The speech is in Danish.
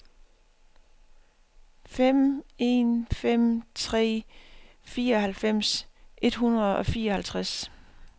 fem en fem tre fireoghalvfems et hundrede og fireoghalvtreds